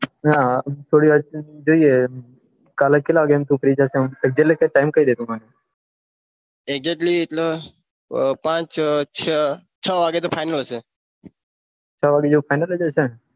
થોડી વાર રહીને જઈએ કાલે કેટલા વાગે ફ્રી થશે એકજટ ટાઈમ કહી ડે મને એકજટ પાંચ છ વાગે તો ફાઈનલ છે છ વાગે તો ફાઈનલ જ હશે